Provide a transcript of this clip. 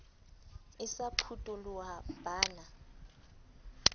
e sa phutoloha ba na